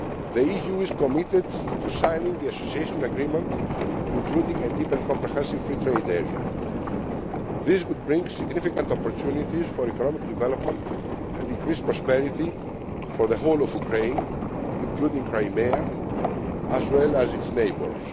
funds. The EU is committed to signing the Association Agreement, including a Deep and Comprehensive Free Trade Area. This would bring significant opportunities for economic development and increased prosperity for the whole of Ukraine, including Crimea, as well as its neighbours.